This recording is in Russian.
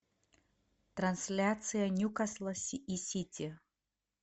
трансляция ньюкасла и сити